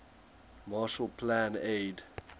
marshall plan aid